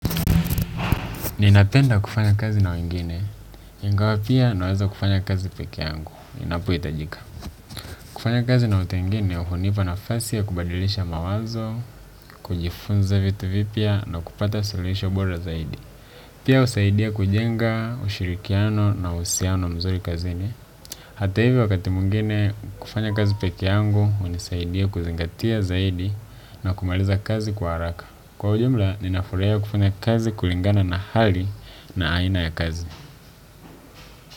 Ninapenda kufanya kazi na wengine, ingawa pia naweza kufanya kazi pekee yangu, inapohitajika. Kufanya kazi na watu wengine, hunipa nafasi ya kubadilisha mawazo, kujifunza vitu vipya na kupata suluhisho bora zaidi. Pia husaidia kujenga, ushirikiano na uhusiano mzuri kazini. Hata hivyo wakati mwingine kufanya kazi pekee yangu hunisaidia kuzingatia zaidi na kumaliza kazi kwa haraka kwa ujumla, ninafurahia kufunya kazi kulingana na hali na aina ya kazi.